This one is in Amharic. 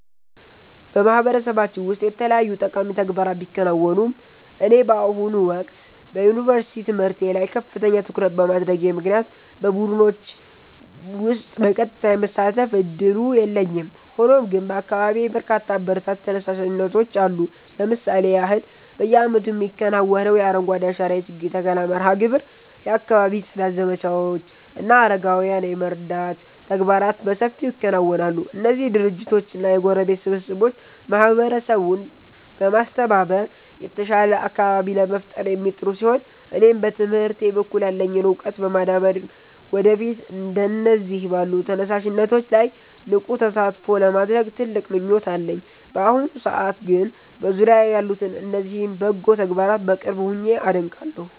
በማህበረሰባችን ውስጥ የተለያዩ ጠቃሚ ተግባራት ቢከናወኑም፣ እኔ በአሁኑ ወቅት በዩኒቨርሲቲ ትምህርቴ ላይ ከፍተኛ ትኩረት በማድረጌ ምክንያት በቡድኖች ውስጥ በቀጥታ የመሳተፍ ዕድሉ የለኝም። ሆኖም ግን በአካባቢዬ በርካታ አበረታች ተነሳሽነቶች አሉ። ለምሳሌ ያህል፣ በየዓመቱ የሚከናወነው የአረንጓዴ አሻራ የችግኝ ተከላ መርሃ ግብር፣ የአካባቢ ጽዳት ዘመቻዎች እና አረጋውያንን የመርዳት ተግባራት በሰፊው ይከናወናሉ። እነዚህ ድርጅቶችና የጎረቤት ስብስቦች ማህበረሰቡን በማስተባበር የተሻለ አካባቢ ለመፍጠር የሚጥሩ ሲሆን፣ እኔም በትምህርቴ በኩል ያለኝን ዕውቀት በማዳበር ወደፊት እንደነዚህ ባሉ ተነሳሽነቶች ላይ ንቁ ተሳትፎ ለማድረግ ትልቅ ምኞት አለኝ። በአሁኑ ሰዓት ግን በዙሪያዬ ያሉትን እነዚህን በጎ ተግባራት በቅርብ ሆኜ አደንቃለሁ።